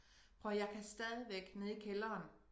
Prøv at høre jeg kan stadigvæk nede i kælderen